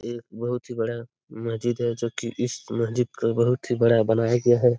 एक बोहोत ही बड़ा मस्जिद है जो की इस मस्जिद को बोहोत ही बड़ा बनाया गया है।